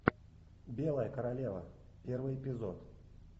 белая королева первый эпизод